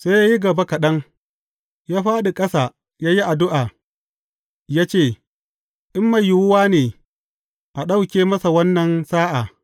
Sai ya yi gaba kaɗan, ya fāɗi a ƙasa, ya yi addu’a, ya ce in mai yiwuwa ne, a ɗauke masa wannan sa’a.